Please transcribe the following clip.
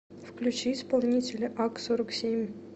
включи исполнителя ак сорок семь